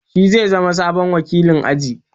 Shi zai zama sabon wakilin aji.